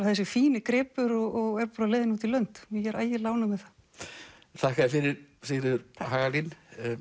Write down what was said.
þessi fíni gripur og er á leiðinni út í lönd og ég er ægilega ánægð með það þakka þér fyrir Sigríður Hagalín